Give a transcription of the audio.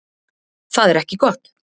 Það er ekki gott.